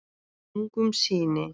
Ungum syni